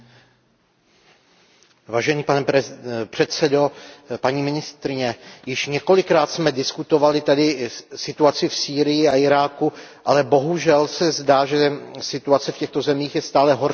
Již několikrát jsme tady diskutovali o situaci v Sýrii a Iráku, ale bohužel se zdá, že situace v těchto zemích je stále horší a horší. Znovu nám to připomnělo ovládnutí Palmyry tzv.